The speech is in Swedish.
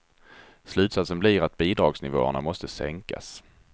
Slutsatsen blir att bidragsnivåerna måste sänkas.